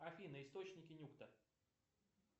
афина источники нюкта